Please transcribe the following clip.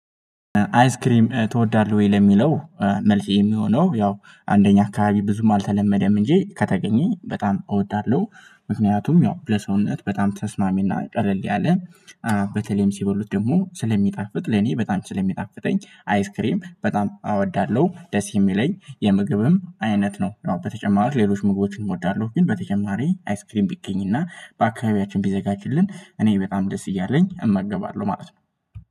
አይስክሪም ትወዳለህ ወይ? ለሚለው መልስ የሚሆነው ያው እንደኛ አካባቢ ብዙም አልተለመደም እንጂ ከተገኘ በጣም እወዳለሁ። ምክንያቱም ያው ለሰውነት በጣም ተስማሚና ቀለል ያለ በተለይም ሲበሉት ደግሞ ስለሚጣፍጥ ለኔ በጣም ስለሚጣፍጠኝ አይስክሬም በጣም አወዳለሁ ደስ የሚለኝ የምግብም አይነት ነው። በተጨማሪው ሌሎች ምግቦችን እወዳለሁ ግን በተጨማሪ አይስክሪን ቢገኝና በአካባቢያችን ቢዘጋጅልን እኔ በጣም ደስ እያለኝ እመገባለሁ ማለት ነው